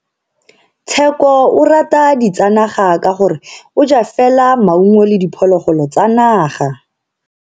Tsheko o rata ditsanaga ka gore o ja fela maungo le diphologolo tsa naga.